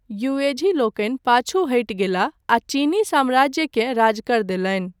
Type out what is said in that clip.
Yuezhi लोकनि पाछू हटि गेल आ चीनी साम्राज्यकेँ राजकर देलनि।